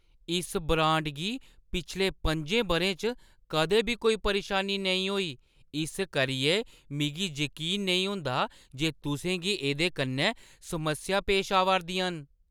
इस ब्रांड गी पिछले 5एं बʼरें च कदें बी कोई परेशानी नेईं होई, इस करियै मिगी जकीन नेईं होंदा जे तुसें गी एह्दे कन्नै समस्यां पेश आवा 'रदियां न।